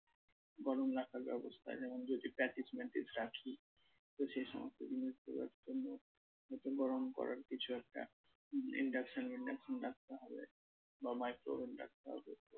গরম রাখার ব্যবস্থা যেমন যদি patties ম্যাটিস রাখি তো সেই সমস্ত জিনিসগুলোর জন্য গরম করার কিছু একটা induction মিন্ডাকশন রাখতে হবে বা micro-oven রাখতে হবে।